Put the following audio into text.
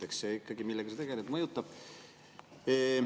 Eks ikkagi see, millega sa tegeled, mõjutab.